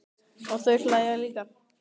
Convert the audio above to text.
Og þau hlæja líka.